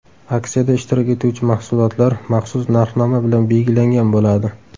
Aksiyada ishtirok etuvchi mahsulotlar maxsus narxnoma bilan belgilangan bo‘ladi.